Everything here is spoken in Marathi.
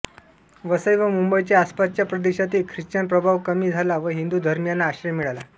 वसई व मुंबईच्या आसपासच्या प्रदेशातील ख्रिश्चन प्रभाव कमी झाला व हिंदू धर्मीयांना आश्रय मिळाला